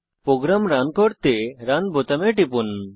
programme run করতে run বোতামে টিপুন